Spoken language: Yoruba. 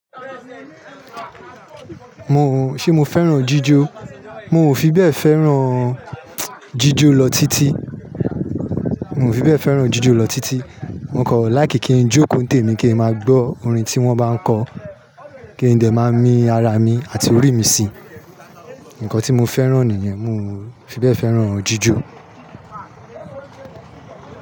Mo, ṣe mo fẹ́ràn jíjó? Mi ò fi bẹ́ẹ̀ fẹ́ràn jíjó lọ títí, mi ò fi bẹ́ẹ̀ fẹ́ràn jíjó lọ títí. Mo kọ̀ like kin jókòó tèmi, kí n máa gbọ́ orin tí wọ́n bá kọ, kí n dè máa mi ara mi àti orí mi sí, nǹkan tí mo fẹ́ràn nìyẹn, mo- fi bẹ́ẹ̀ fẹ́ràn jíjó.